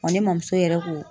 Wa ne ma muso yɛrɛ ko